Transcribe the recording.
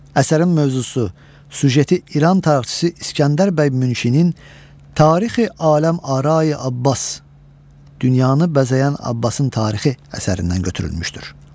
Əsərin mövzusu, süjeti İran tarixçisi İsgəndər bəy Münşinin tarixi Aləm Arai Abbas dünyanı bəzəyən Abbasın tarixi əsərindən götürülmüşdür.